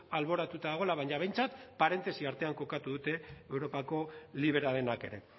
alboratuta dagoela baina behintzat parentesi artean kokatu dute europako liberalenak ere